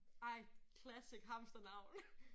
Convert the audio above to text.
Ej! Classic hamsternavn